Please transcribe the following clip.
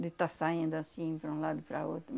De estar saindo assim, para um lado e para outro.